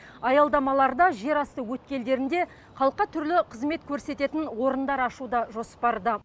аялдамаларда жерасты өткелдерінде халыққа түрлі қызмет көрсететін орындар ашу да жоспарда